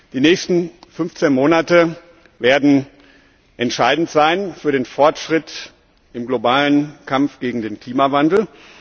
Die nächsten 15 Monate werden entscheidend sein für den Fortschritt im weltweiten Kampf gegen den Klimawandel.